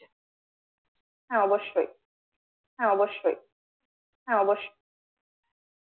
হ্যাঁ অবশ্যই হ্যাঁ অবশ্যই হ্যাঁ অবশ্যই